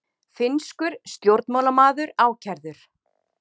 Finnskur stjórnmálamaður ákærður